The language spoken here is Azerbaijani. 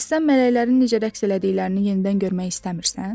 Bəs sən mələklərin necə rəqs elədiklərini yenidən görmək istəmirsən?